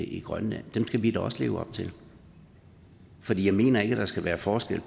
i grønland skal vi da også leve op til for jeg mener ikke at der skal være forskel